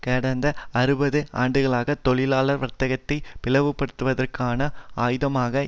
கடந்த அறுபது ஆண்டுகளாக தொழிலாளர் வர்க்கத்தை பிளவுபடுத்துவதற்கான ஆயுதமாக